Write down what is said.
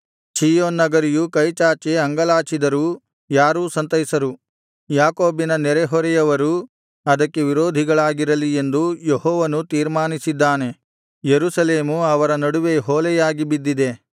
ಚೀಯೋನ್ ನಗರಿಯು ಕೈಚಾಚಿ ಅಂಗಲಾಚಿದರೂ ಯಾರೂ ಸಂತೈಸರು ಯಾಕೋಬಿನ ನೆರೆಹೊರೆಯವರು ಅದಕ್ಕೆ ವಿರೋಧಿಗಳಾಗಿರಲಿ ಎಂದು ಯೆಹೋವನು ತೀರ್ಮಾನಿಸಿದ್ದಾನೆ ಯೆರೂಸಲೇಮು ಅವರ ನಡುವೆ ಹೊಲೆಯಾಗಿ ಬಿದ್ದಿದೆ